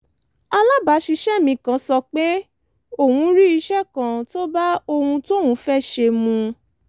alábàáṣiṣẹ́ mi kan sọ pé òun rí iṣẹ́ kan tó bá ohun tóun fẹ́ ṣe mu